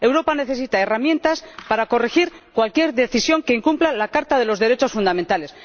Europa necesita herramientas para corregir cualquier decisión que incumpla la Carta de los Derechos Fundamentales.